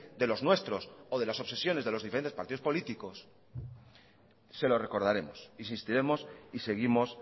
de los nuestros o de las obsesiones de los diferentes partidos políticos se lo recordaremos insistiremos y seguimos